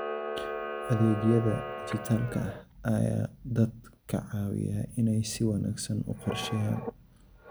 Adeegyada dijitaalka ah ayaa dadka ka caawiya inay si wanaagsan u qorsheeyaan.